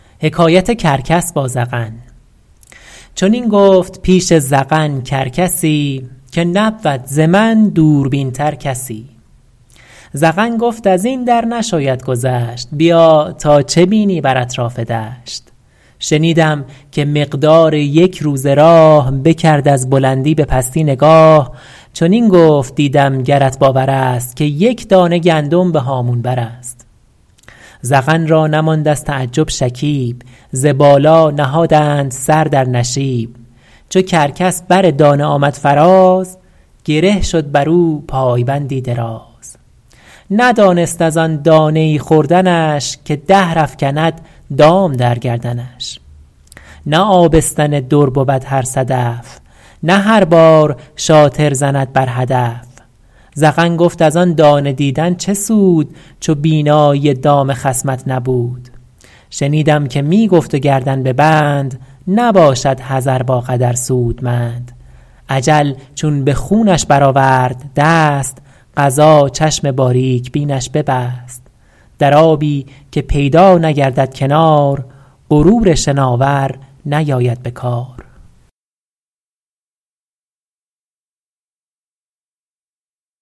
چنین گفت پیش زغن کرکسی که نبود ز من دوربین تر کسی زغن گفت از این در نشاید گذشت بیا تا چه بینی بر اطراف دشت شنیدم که مقدار یک روزه راه بکرد از بلندی به پستی نگاه چنین گفت دیدم گرت باور است که یک دانه گندم به هامون بر است زغن را نماند از تعجب شکیب ز بالا نهادند سر در نشیب چو کرکس بر دانه آمد فراز گره شد بر او پایبندی دراز ندانست از آن دانه ای خوردنش که دهر افکند دام در گردنش نه آبستن در بود هر صدف نه هر بار رامی زند بر هدف زغن گفت از آن دانه دیدن چه سود چو بینایی دام خصمت نبود شنیدم که می گفت و گردن به بند نباشد حذر با قدر سودمند اجل چون به خونش بر آورد دست قضا چشم باریک بینش ببست در آبی که پیدا نگردد کنار غرور شناور نیاید به کار